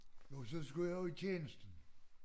Jo så skulle jeg jo i tjenesten